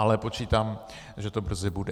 Ale počítám, že to brzy bude.